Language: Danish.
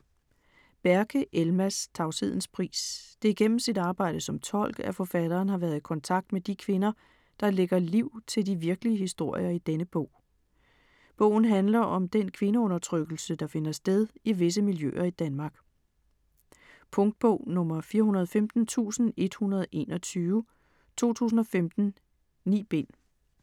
Berke, Elmas: Tavshedens pris Det er gennem sit arbejde som tolk, at forfatteren har været i kontakt med de kvinder, der lægger liv til de virkelige historier i denne bog. Bogen handler om den kvindeundertrykkelse, der finder sted i visse miljøer i Danmark. Punktbog 415121 2015. 9 bind.